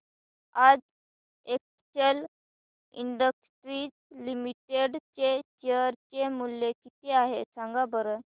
आज Excel Industries Limited चे share चे मूल्य किती आहे सांगा बरं